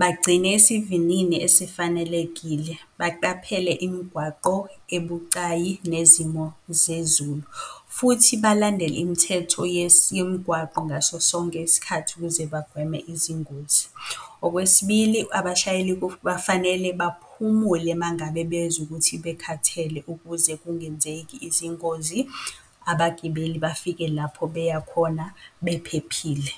Bagcine isivinini esifanelekile, baqaphele imigwaqo ebucayi nezimo zezulu, futhi balandele imithetho yemigwaqo ngaso sonke isikhathi ukuze bagweme izingozi. Okwesibili, abashayeli bafanele baphumule mangabe bezwa ukuthi bekhathele ukuze kungenzeki izingozi, abagibeli bafike lapho beya khona bephephile.